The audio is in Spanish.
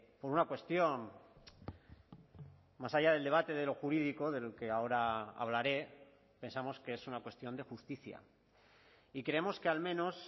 por una cuestión más allá del debate de lo jurídico del que ahora hablaré pensamos que es una cuestión de justicia y creemos que al menos